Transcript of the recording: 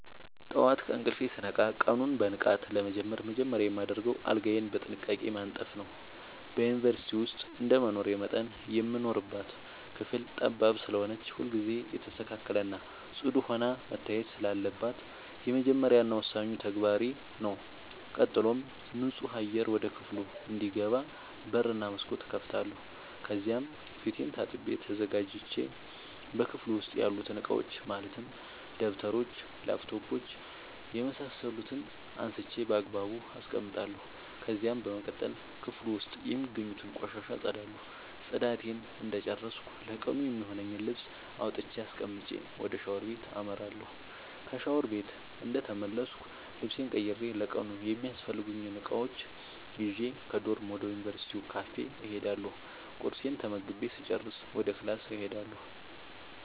ጠዋት ከእንቅልፌ ስነቃ ቀኑን በንቃት ለመጀመር መጀመሪያ የማደርገው አልጋዬን በጥንቃቄ ማንጠፍ ነዉ። በዩንቨርስቲ ዉስጥ እንደመኖሬ መጠን የምንኖርባት ክፍል ጠባብ ስለሆነች ሁልጊዜ የተስተካከለ እና ፅዱ ሆና መታየት ስላለባት የመጀመሪያ እና ወሳኙ ተግባሬ ተግባሬ ነዉ። ቀጥሎም ንፁህ አየር ወደ ክፍሉ እንዲገባ በር እና መስኮት እከፍታለሁ ከዚያም ፊቴን ታጥቤ ተዘጋጅቼ በክፍሉ ዉስጥ ያሉትን እቃዎች ማለትም ደብተሮች: ላፕቶፕ የምሳሰሉትን አንስቼ ባግባቡ አስቀምጣለሁ። ከዚያም በመቀጠል ክፍሉ ዉስጥ የሚገኙትን ቆሻሻ አፀዳለሁ ፅዳቴን እንደጨረስኩ ለቀኑ የሚሆነኝን ልብስ አውጥቼ አስቀምጬ ወደ ሻወር ቤት አመራለሁ። ከሻወር ቤት እንደተመለስኩ ልብሴን ቀይሬ ለቀኑ የሚያስፈልጉኝን እቃዎች ይዤ ከዶርም ወደ ዩንቨርስቲው ካፌ እሄዳለሁ ቁርሴን ተመግቤ ስጨርስ ወደ ክላስ እሄዳለሁ።